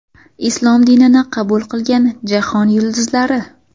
Islom dinini qabul qilgan jahon yulduzlari !